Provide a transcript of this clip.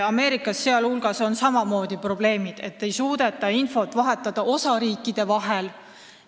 Ameerikas on ka probleemid, et ei suudeta osariikide vahel infot vahetada.